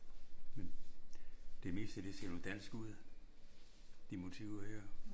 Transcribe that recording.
Men det meste det ser vel dansk ud. De motiver her